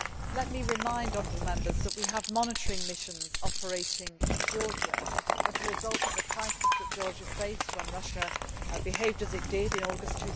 Let me remind honourable Members that we have monitoring missions operating in Georgia as a result of the crisis that Georgia faced when Russia behaved as it did in August